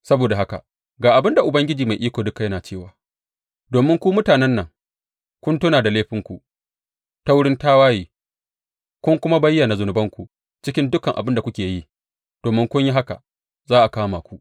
Saboda haka ga abin da Ubangiji Mai Iko Duka yana cewa, Domin ku mutanen nan kun tuna da laifinku ta wurin tawaye, kun kuma bayyana zunubanku cikin dukan abin da kuke yi, domin kun yi haka, za a kama ku.